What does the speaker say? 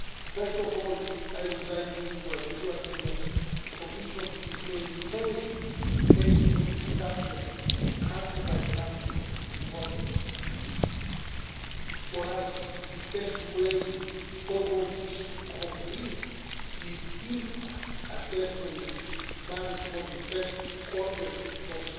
First of all, I would like to assure you that the Commission is maintaining the pace on the subject of country by country reporting. For us, the best way forward is to complete the impact assessment which is planned for the first quarter